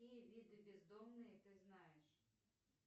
какие виды бездомные ты знаешь